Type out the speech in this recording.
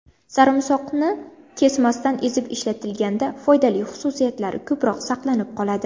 Sarimsoqni kesmasdan ezib ishlatilganda foydali xususiyatlari ko‘proq saqlanib qoladi.